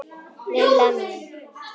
Lilla mín.